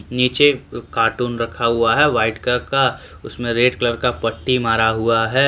नीचे कार्टून रखा हुआ है व्हाइट कलर का उसमें रेड कलर का पट्टी मारा हुआ है।